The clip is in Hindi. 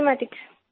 मैथमेटिक्स